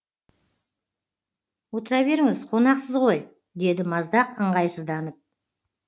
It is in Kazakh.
отыра беріңіз қонақсыз ғой деді маздақ ыңғайсызданып